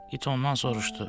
İt ondan soruşdu.